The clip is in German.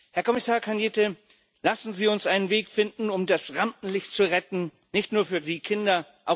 Herr Kommissar Cañete, lassen Sie uns einen Weg finden, um das Rampenlicht zu retten, nicht nur für die Kinder.